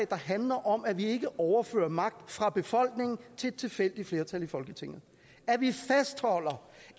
der handler om at vi ikke overfører magt fra befolkningen til et tilfældigt flertal i folketinget at vi fastholder